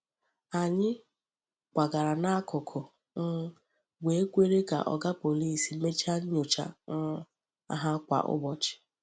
Anyị kwagara n’akụkụ um wee kwere ka Oga Pọlịs mechaa nyocha um ha kwa ụbọchị.